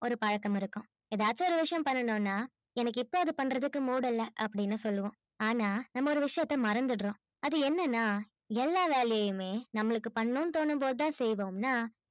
ஒரு பழக்கம் இருக்கும் எதாச்சு பண்ணனும்னா எனக்கு இப்ப அதை பண்றதுக்கு mood இல்ல அப்பிடின்னு சொல்லுவோம் ஆன்னா நம்ம ஒரு விஷயத்த மறந்திடுறோம் அது என்னனா எல்லா வேலையிலுமே நம்மளுக்கு பண்ணனும்னு தோணும் போது தான் செய்வோம் னா